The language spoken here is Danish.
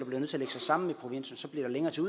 blive lagt sammen så bliver der længere til